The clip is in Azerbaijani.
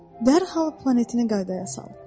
dərhal planetini qaydaya saldın.